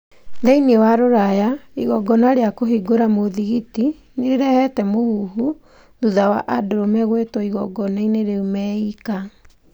Thĩiniĩ wa Ruraya, igongona rĩa kũhingũra mũthigiti nĩ rĩrehete mũhuhu thutha wa andurume gũĩtwo igongona-inĩ rĩu meika.